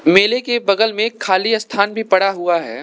मेले के बगल मे खाली स्थान भी पड़ा हुआ है।